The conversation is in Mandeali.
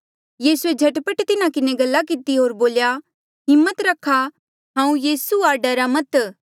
यीसूए झट पट तिन्हा किन्हें गल्ला किती होर बोल्या हिम्मत रखा हांऊँ यीसू आ डरा मत